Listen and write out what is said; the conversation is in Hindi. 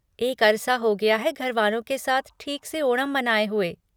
एक अरसा हो गया है घर वालों के साथ ठीक से ओणम मनाए हुए।